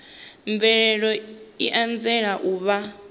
mvelelo i anzela u vha